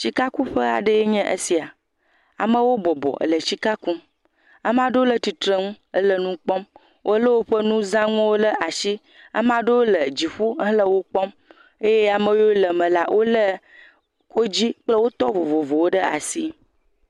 Sikakuƒe a ɖe nye esia, amewo bɔbɔ le sika kum, ame aɖewo le tsitre nu hele nu kpɔm, wole woƒe nuzanuwo ɖe asi. Ame aɖewo le dziƒo hele wo kpɔm eye ame aɖewo yiwo le eme la, wodzi kple wotɔ vovovowo ɖe asi.